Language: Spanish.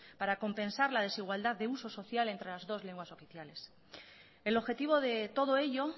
para compensar la desigualdad de uso social entre las dos lenguas oficiales el objetivo de todo ello